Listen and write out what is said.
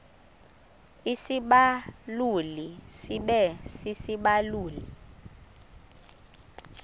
isibaluli sibe sisibaluli